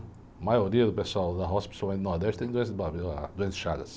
A maioria do pessoal da roça, principalmente do Nordeste, tem doença de barbeiro lá, doença de chagas.